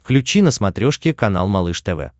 включи на смотрешке канал малыш тв